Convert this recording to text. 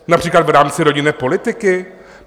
Například v rámci rodinné politiky?